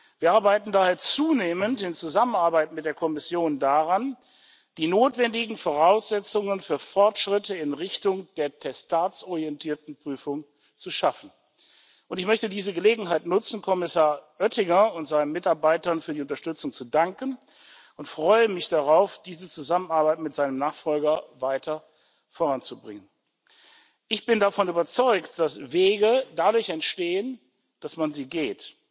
Wir arbeiten daher zunehmend in Zusammenarbeit mit der Kommission daran, die notwendigen Voraussetzungen für Fortschritte in Richtung der testatsorientierten Prüfung zu schaffen, und ich möchte diese Gelegenheit nutzen, Kommissar Oettinger und seinen Mitarbeitern für die Unterstützung zu danken, und freue mich darauf, diese Zusammenarbeit mit seinem Nachfolger weiter voranzubringen. Ich bin davon überzeugt, dass Wege dadurch entstehen, dass man sie geht,